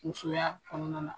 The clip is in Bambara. Musoya kɔnɔna na